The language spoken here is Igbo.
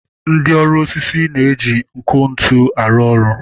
Ndị ọrụ osisi na-eji nkụ ntu arụ ọrụ.